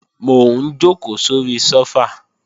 Mò ń jòkó sóri sófà